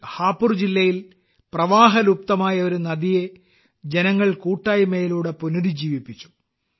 ഹാപുർ ജില്ലയിൽ പ്രവാഹലുപ്തമായ ഒരു നദിയെ ജനങ്ങൾ കൂട്ടായ്മയിലൂടെ പുനരുജ്ജീവിപ്പിച്ചു